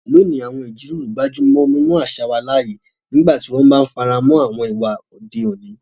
Lónìí, àwọn ìjíròrò gbájú mọ́ mímú àṣà wà láàyè nígbà tí wọ́n bá ń fara mọ́ àwọn ìwà òde òní.